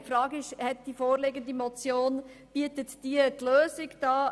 Die Frage ist, ob die vorliegende Motion die Lösung bietet.